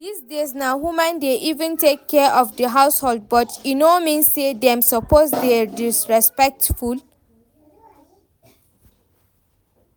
Dis days na women dey even take care of the household but e no mean say dem suppose dey disrespectful